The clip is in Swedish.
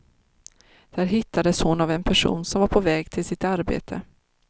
Där hittades hon av en person som var på väg till sitt arbete.